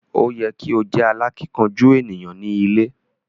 O yẹ ki o jẹ alákínkanjú eniyan ni ilé.